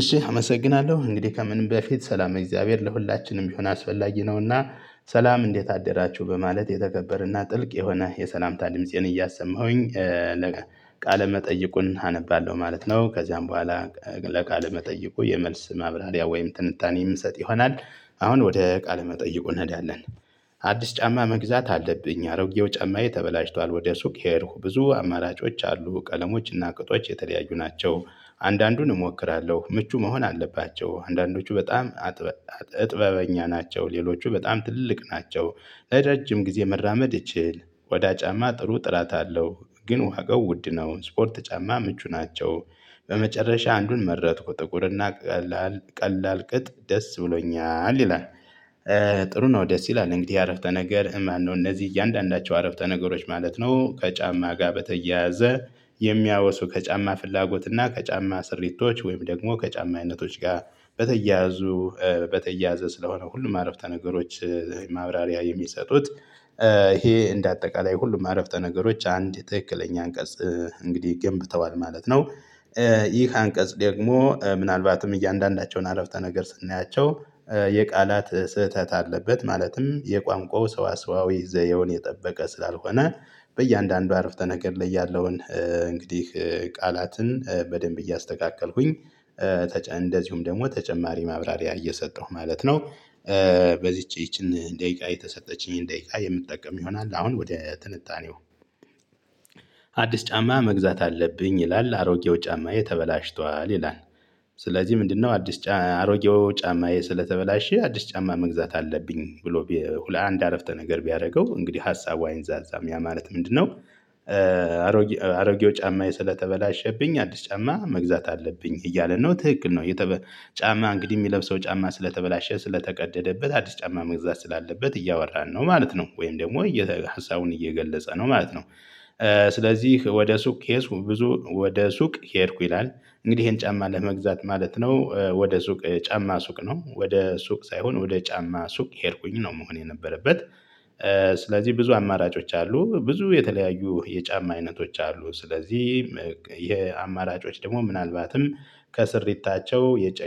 እሺ አመሰግናለሁ እንግዲህ ከምንም በፊት ሰላም የእግዚአብሔር ለሁላችንም ቢሆን አስፈላጊ ነውና። ሰላም እንዴት አደራችሁ በማለት የተከበርና ጥልቅ የሆነ የሰላምታ ድምፄን እያሰማሁኝ። ቃለ መጠይቁን አነባለሁ ማለት ነው። ከዚያም በኋላ። በቃለ መጠየቁ የመልስ ማብራሪያ ወይም ትንታኔ የምንሰጥ ይሆናል። አሁን ወደ ቃለ መጠይቁ እንሄዳለን። አዲስ ጫማ መግዛት አለብኝ አሮጌው ጫማዬ ተበላሽቷል ወደ ሱቅ ሄድኩ ብዙ አማራጮች አሉ ቀለሞችና ቅጦች የተለያዩ ናቸው። አንዳንዱን እሞክራለሁ ምቹ መሆን አለባቸው አንዳንዶቹ በጣም እጥበበኛ ናቸው ሌሎቹ በጣም ትልልቅ ናቸው። ለረጅም ጊዜ መራመድ እችል ቆዳ ጫማ ጥሩ ጥራት አለው ግን ዋጋው ውድ ነው ስፖርት ጫማ ምቹ ናቸው። በመጨረሻ አንዱን መረጥኩ ጥቁርና ቀላል ቀላል ቅጥ ደስ ብሎኛል ይላል። ጥሩ ነው። ደስ ይላል እንግዲህ አረፍተ ነገር ማነው? እነዚህ እያንዳንዳቸው አረፍተ ነገሮች ማለት ነው። ከጫማ ጋር በተያያዘ የሚያወሱ ከጫማ ፍላጎት እና ከጫማ ስሪቶች ወይም ደግሞ ከጫማ አይነቶች ጋር በተያያዙ በተያያዘ ስለሆነ ሁሉም አረፍተ ነገሮች። ማብራሪያ የሚሰጡት ይሄ እንደ አጠቃላይ ሁሉም አረፍተ ነገሮች አንድ ትክክለኛ አንቀጽ እንግዲህ ገንብተዋል ማለት ነው። ይህ አንቀጽ ደግሞ ምናልባትም እያንዳንዳቸውን አረፍተ ነገር ስናያቸው። የቃላት ስህተት አለበት ማለትም የቋንቋው ሰዋሰዋዊ ዘዬውን የጠበቀ ስላልሆነ በእያንዳንዱ አረፍተ ነገር ላይ ያለውን እንግዲህ ቃላትን በደንብ እያስተካከልኩኝ። እንደዚሁም ደግሞ ተጨማሪ ማብራሪያ እየሰጠሁ ማለት ነው። በዚህ ይቺን ደቂቃ የተሰጠችኝን ደቂቃ የምትጠቀም ይሆናል አሁን ወደ ትንታኔው። አዲስ ጫማ መግዛት አለብኝ ይላል አሮጌው ጫማዬ ተበላሽቷል ይላል። ስለዚህ ምንድነው? አዲስ ጫማ አሮጌው ጫማዬ ስለተበላሸ አዲስ ጫማ መግዛት አለብኝ ብሎ ለአንድ አረፍተ ነገር ቢያደርገው እንግዲህ ሀሳቧ አይንዛዛም ያ ማለት ምንድነው? አሮጌው ጫማዬ ሰለተበላሸብኝ አዲስ ጫማ መግዛት አለብኝ እያለ ነው ትክክል ነው። የተበ ጫማ እንግዲህ የሚለብሰው ጫማ ስለተበላሸ ስለተቀደደበት አዲስ ጫማ መግዛት ስላለበት እያወራን ነው ማለት ነው ወይም ደግሞ ሀሳቡን እየገለጸ ነው ማለት ነው። ስለዚህ ወደ ሱቅ ብዙ ወደ ሱቅ ከሄድኩ ይላል። እንግዲህ ይሄን ጫማ ለመግዛት ማለት ነው ወደ ሱቅ ጫማ ሱቅ ነው ወደ ሱቅ ሳይሆን ወደ ጫማ ሱቅ ሄድኩኝ ነው መሆን የነበረበት። ስለዚህ ብዙ አማራጮች አሉ ብዙ የተለያዩ የጫማ አይነቶች አሉ ስለዚህ የአማራጮች ደግሞ ምናልባትም ከስሪታቸው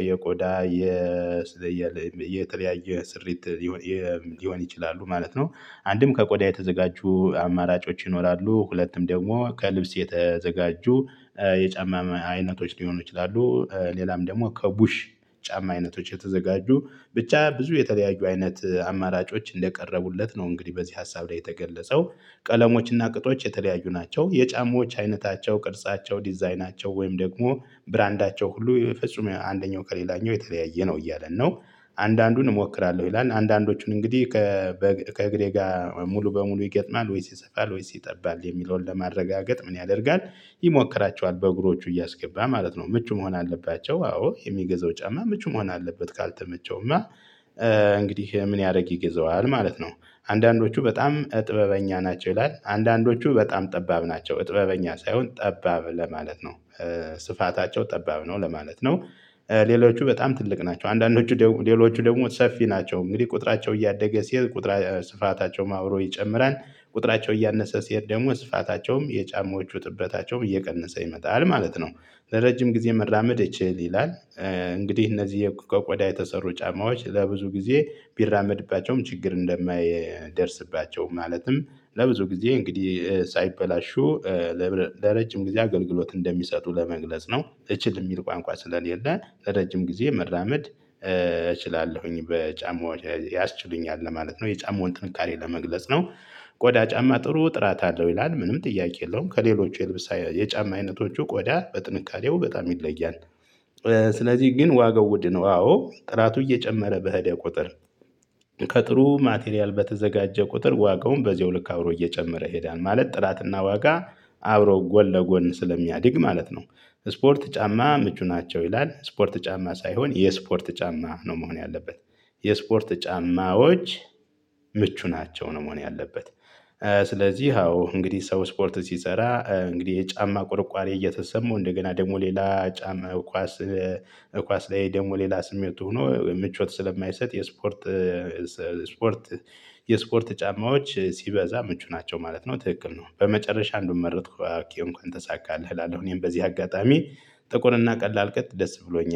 የቆዳ የተለያየ ስሪት ሊሆን ይችላሉ ማለት ነው። አንድም ከቆዳ የተዘጋጁ አማራጮች ይኖራሉ ሁለትም ደግሞ ከልብስ የተዘጋጁ የጫማ አይነቶች ሊሆኑ ይችላሉ ሌላም ደግሞ ከቡሽ ጫማ አይነቶች የተዘጋጁ ብቻ ብዙ የተለያዩ አይነት አማራጮች እንደቀረቡለት ነው። እንግዲህ በዚህ ሀሳብ ላይ የተገለጸው ቀለሞችና ቅጦች የተለያዩ ናቸው የጫማዎች አይነታቸው ቅርጻቸው ዲዛይናቸው ወይም ደግሞ ብራንዳቸው ሁሉ የፍጹም አንደኛው ከሌላኛው የተለያየ ነው እያለ ነው። አንዳንዱን እሞክራለሁ ይላል አንዳንዶቹን እንግዲህ ከእግሬ ጋር ሙሉ በሙሉ ይገጥማል ወይስ ይሰፋል ወይስ ይጠባል የሚለውን ለማረጋገጥ ምን ያደርጋል? ይሞክራቸዋል በእግሮቹ እያስገባ ማለት ነው። ምቹ መሆን አለባቸው። አዎ የሚገዛው ጫማ ምቹ መሆን አለበት ካልተመቸውማ እንግዲህ ምን ያደርግ ይገዛዋል ማለት ነው። አንዳንዶቹ በጣም ጥበበኛ ናቸው ይላል አንዳንዶቹ በጣም ጠባብ ናቸው ጥበበኛ ሳይሆን ጠባብ ለማለት ነው። ስፋታቸው ጠባብ ነው ለማለት ነው። ሌሎቹ በጣም ትልቅ ናቸው አንዳንዶቹ ሌሎቹ ደግሞ ሰፊ ናቸው እንግዲህ ቁጥራቸው እያደገ ሲሄድ ስፋታቸውም አብሮ ይጨምራል። ቁጥራቸው እያነሰ ሲሄድ ደግሞ ስፋታቸውም የጫማዎቹ ጥበታቸውም እየቀነሰ ይመጣል ማለት ነው። ለረጅም ጊዜ መራመድ እችል ይላል። እንግዲህ እነዚህ ከቆዳ የተሰሩ ጫማዎች ለብዙ ጊዜ ቢራመድባቸውም ችግር እንደማይደርስባቸውም ማለትም ለብዙ ጊዜ እንግዲህ ሳይበላሹ። ለረጅም ጊዜ አገልግሎት እንደሚሰጡ ለመግለጽ ነው እቺን የሚል ቋንቋ ስለሌለ ለረጅም ጊዜ መራመድ እችላለሁኝ በጫማው ያስችሉኛል ለማለት ነው የጫማውን ጥንካሬ ለመግለጽ ነው። ቆዳ ጫማ ጥሩ ጥራት አለው ይላል ምንም ጥያቄ የለውም ከሌሎች የልብስ የጫማ አይነቶቹ ቆዳ በጥንካሬው በጣም ይለያል። ስለዚህ ግን ዋጋው ውድ ነው። አዎ ጥራቱ እየጨመረ በሄደ ቁጥር። ከጥሩ ማቴሪያል በተዘጋጀ ቁጥር ዋጋው በዚያው ልክ አብሮ እየጨመረ ይሄዳል ማለት ጥራትና ዋጋ አብሮ ጎን ለጎን ስለሚያድግ ማለት ነው። ስፖርት ጫማ ምቹ ናቸው ይላል ስፖርት ጫማ ሳይሆን የስፖርት ጫማ ነው መሆን ያለበት። የስፖርት ጫማዎች ምቹ ናቸው ነው መሆን ያለበት። ስለዚህ አዎ እንግዲህ ሰው ስፖርት ሲሰራ እንግዲህ የጫማ ቁርቋሪ እየተሰማው እንደገና ደግሞ ሌላ ጫማ ኳስ። ኳስ ላይ ደግሞ ሌላ ስሜቱ ሆኖ ምቾት ስለማይሰጥ የስፖርት ስፖርት የስፖርት ጫማዎች ሲበዛ ምቹ ናቸው ማለት ነው። ትክክል ነው። በመጨረሻ እንዱን መረጥኩ እንኳን ተሳካለህ እላለሁ እኔም በዚህ አጋጣሚ ጥቁርና ቀላል ቅጥ ደስ ብሎኛል